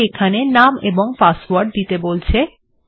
এটি এখানে নাম এবং পাসওয়ার্ড দিতে বলছে